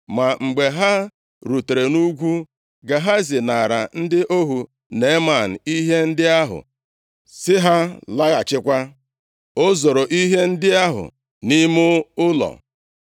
Ma mgbe ha rutere nʼugwu, Gehazi naara ndị ohu Neeman ihe ndị ahụ, sị ha laghachikwa. O zoro ihe ndị ahụ nʼime ụlọ.